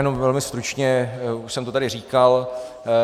Jen velmi stručně, už jsem to tady říkal.